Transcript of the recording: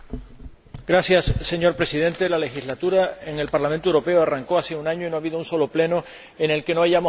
Señor Presidente, la actual legislatura del Parlamento Europeo arrancó hace un año y no ha habido un solo Pleno en el que no hayamos hablado de la crisis.